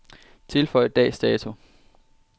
Tilføj dags dato.